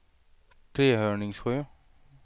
Trehörningsjö